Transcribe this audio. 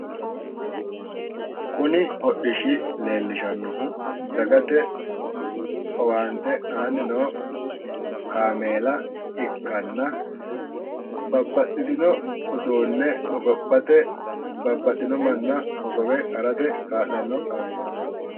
Kuni hodhishshi leellishannohu dagate owaantte aanni noo kaaameela ikkanna, babbaxitino uduunne hogophate, babbaxitino manna hogowe harate kaa'lanno kaameelaati.